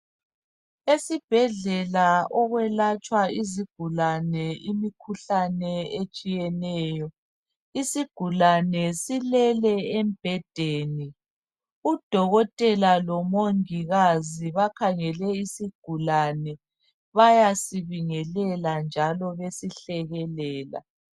Esibhedlela okwelatshwa izigulane imikhuhlane etshiyeneyo. Isigulane silele embhedeni. Udokotela lomongikazi bakhangele isigulane. Bayasibingelela njalo besihlekelela.